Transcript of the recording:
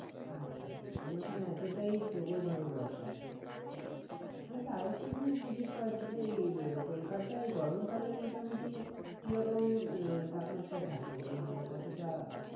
আচ্ছা আচ্ছা মানে ওখানে এতটাই প্রবল ভাবে বর্ষা আসে আচ্ছা আর একটা জিনিস জিজ্ঞেস করার ছিল এই আহ কলকাতায় গরম কালে মোটামুটি কিরকম আহ তাপমাত্রা থাকে মানে কতটা